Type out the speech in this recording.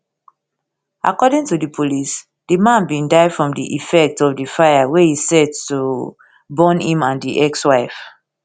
according to di police di man bin die from di effect of di fire wey e set to burn im and di ex wife